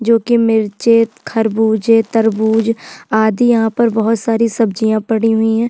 जो कि मिर्ची खरबूज तरबूज आदि यहाँ पर बहोत सारी सब्जिया पड़ी हुई है।